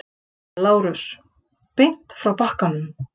LÁRUS: Beint frá bakaranum.